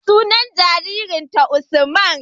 Sunan jarirnta Usman.